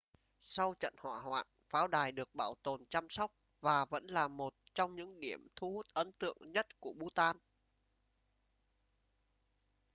sau trận hỏa hoạn pháo đài được bảo tồn chăm sóc và vẫn là một trong những điểm thu hút ấn tượng nhất của bhutan